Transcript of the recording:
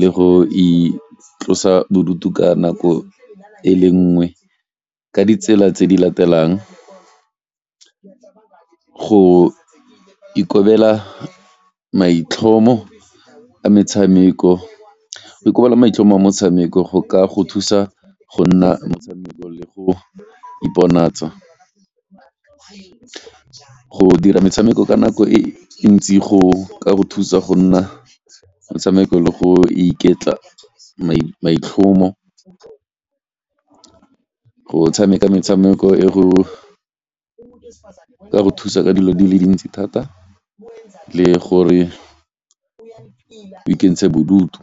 le go itlosa bodutu ka nako e le nngwe ka ditsela tse di latelang, go ikobela maitlhomo a metshameko, go ikobela maitlhomo a motshameko go ka go thusa go nna go iponatsa. Go dira metshameko ka nako e ntsi go ka go thusa go nna metshameko le go iketla maitlhomo, go tshameka metshameko e go e ka go thusa ka dilo di le dintsi thata le gore o ikentshe bodutu.